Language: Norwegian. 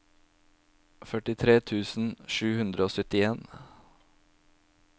førtitre tusen sju hundre og syttien